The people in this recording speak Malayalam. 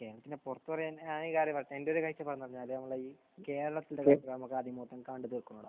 കേരളത്തിന്റെ പുറത്ത് പറയാൻ എന്റെ ഒരു ഇതിൽ പറഞ്ഞാൽ ഈ കേരളത്തിന്റെ പുറത്ത് നമുക്ക് ആദ്യം പോയിട്ട് കാണേണ്ടത് ആണ്.